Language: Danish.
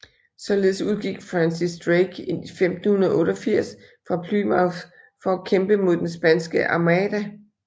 Således udgik Francis Drake i 1588 fra Plymouth for at kæmpe mod den Spanske armada